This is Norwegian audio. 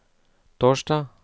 torsdag